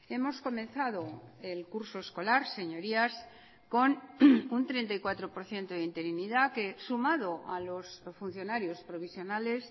hemos comenzado el curso escolar señorías con un treinta y cuatro por ciento de interinidad que sumado a los funcionarios provisionales